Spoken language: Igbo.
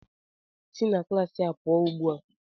Si na klaasị a ugbu a!